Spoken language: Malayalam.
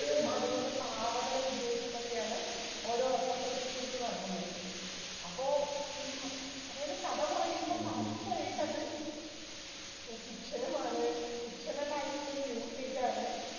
അതുപോലെ പാവകളെ ഉപയോഗിച്ചിട്ട് ഒക്കെയാണ് അവര് representations നടത്തുന്നത്. അപ്പോ ഈ അതായത് കഥ പറയുമ്പോ correct ആയിട്ടത് fiction മാണ് fictional ആയിട്ടുള്ള ഒരു usage ആണ്.